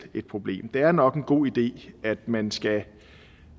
et problem det er nok en god idé at man skal